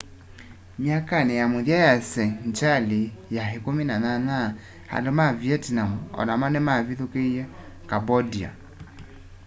myakanĩ ya mũthia ya sengyalĩ ya 18 andũ ma vietnam o namo nĩmavithũkĩie cambodia